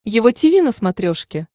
его тиви на смотрешке